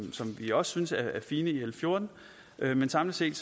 vi også synes er fine i l fjorten men samlet set